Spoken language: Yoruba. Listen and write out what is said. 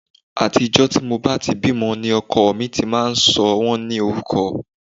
Àti ọjọ́ tí mo bá ti bímọ ni ọkọ mi ti máa ń sọ wọ́n ní orúkọ